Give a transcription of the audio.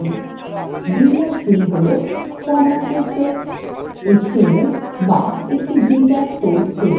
বিন্যাসগুলি html formatted text html বা একটি data source table